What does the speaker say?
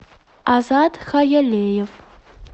азат хаялиев